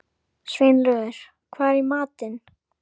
En gamlir skálkar lifa langa ævi.